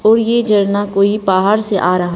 और ये झरना कोई पहाड़ से आ रहा।